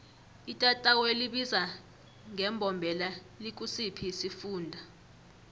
itatawu elibizwa ngembombela likusiphi isifunda